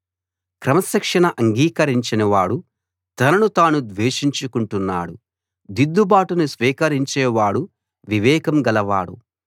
క్రమశిక్షణ అంగీకరించని వాడు తనను తాను ద్వేషించు కుంటున్నాడు దిద్దుబాటును స్వీకరించేవాడు వివేకం గలవాడు